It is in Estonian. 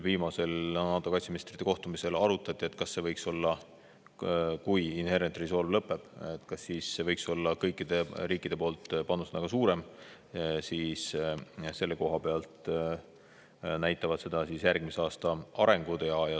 Viimasel NATO kaitseministrite kohtumisel arutati, et kui Inherent Resolve lõpeb, kas siis võiks kõikide riikide panus suurem, aga seda näitavad järgmise aasta arengud.